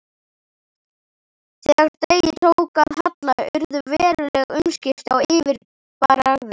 Þegar degi tók að halla urðu veruleg umskipti á yfirbragði